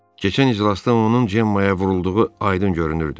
Keçən iclasda onun Cemma-ya vurulduğu aydın görünürdü.